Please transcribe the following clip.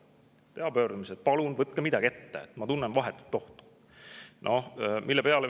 Võin teha pöördumise, et palun võtke midagi ette, ma tunnen vahetut ohtu.